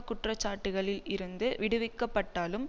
குற்றச்சாட்டுக்களில் இருந்து விடுவிக்கப்பட்டாலும்